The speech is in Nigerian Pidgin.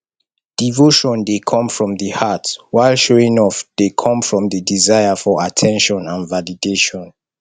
devotion dey come from di heart while showing off dey come from di desire for at ten tion and validation